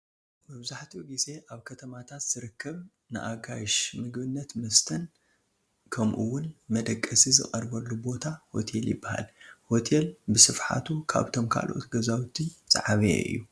መብዛሕትኡ ግዜ ኣብ ከተማታት ዝርከብ ንኣጋይሽ ምግብን መስተን ከምኡውን መደቀሲ ዝቐርበሉ ቦታ ሆቴል ይበሃል፡፡ ሆቴል ብስፍሓቱ ካብቶም ካልኦት ገዛውቲ ዝዓበየ እዩ፡፡